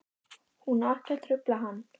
Hún á ekki að trufla hann.